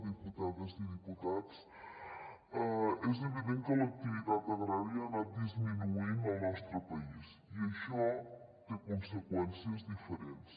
diputades i diputats és evident que l’activitat agrària ha anat disminuint al nostre país i això té conseqüències diferents